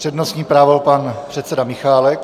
Přednostní právo, pan předseda Michálek.